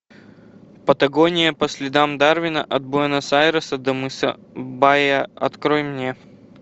патагония по следам дарвина от буэнос айреса до мыса баиа открой мне